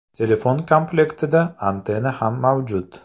Telefon komlektida antenna ham mavjud.